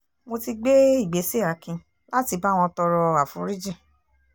mo ti gbé ìgbésẹ̀ akin láti bá wọn tọrọ aforíjìn